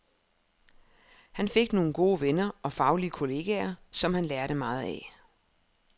Han fik nogle gode venner og faglige kolleger, som han lærte meget af.